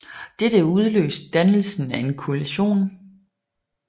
Dette udløste dannelsen af en koalition